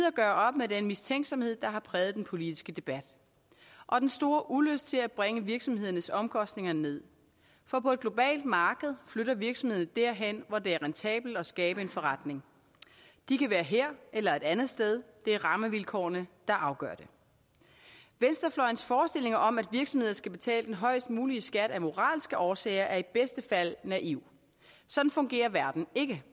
at gøre op med den mistænksomhed der har præget den politiske debat og den store ulyst til at bringe virksomhedernes omkostninger ned for på et globalt marked flytter virksomhederne derhen hvor det er rentabelt at skabe en forretning de kan være her eller et andet sted det er rammevilkårene der afgør det venstrefløjens forestillinger om at virksomheder skal betale den højst mulige skat af moralske årsager er i bedste fald naive sådan fungerer verden ikke